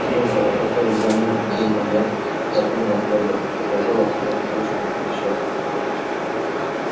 служба о которой за минуту думал я с таким восторгом показалась мне тяжким несчастьем